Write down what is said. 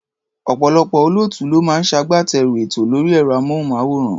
Ọ̀pọ̀lọpọ̀ olóòtú ló máa ń ṣagbátẹrù ètò lórí ẹ̀rọ-amóhùnmáwòrán.